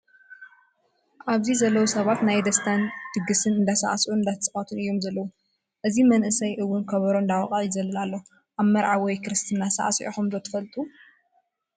ኣብዚ ዘለው ሰባት ናይ ደስታ ድግስ እንዳፃዕስዑ እንዳተፃወቱን እዮም ዘለው። እዚ መንእሰይ እውን ኮበሮ እንዳወቀዐ ይዘልል ኣሎ። ኣብ መርዓ ወይ ክርስትና ሳዕሲዕኩም ዶ ትፈልጡ ?